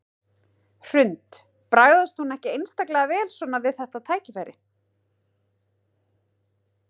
Hrund: Bragðast hún ekki einstaklega vel svona við þetta tækifæri?